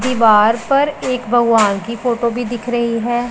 दीवार पर एक भगवान की फोटो भी दिख रही है।